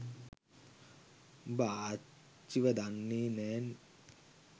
උඹ ආච්චිව දන්නෙ නෑ